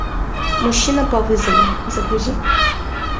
мужчина по вызову загрузи